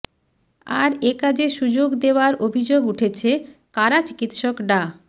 আর এ কাজে সুযোগ দেওয়ার অভিযোগ উঠেছে কারা চিকিৎসক ডা